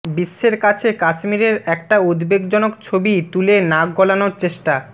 বিশ্বের কাছে কাশ্মীরের একটা উদ্বেগজনক ছবি তুলে নাক গলানোর চেষ্টা